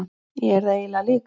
Ég er það eiginlega líka.